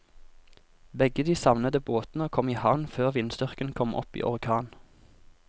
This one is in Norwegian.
Begge de savnede båtene kom i havn før vindstyrken kom opp i orkan.